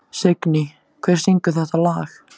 Signý, hver syngur þetta lag?